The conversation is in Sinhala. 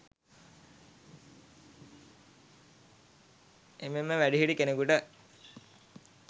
එමෙන්ම වැඩිහිටි කෙනෙකුට